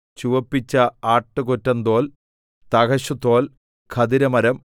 ചുവപ്പിച്ച ആട്ടുകൊറ്റന്തോൽ തഹശുതോൽ ഖദിരമരം